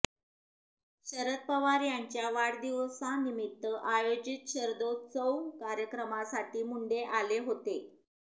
शरद पवार यांच्या वाढदिवसानिमित्त आयोजित शरदोत्सव कार्यक्रमासाठी मुंडे आले होते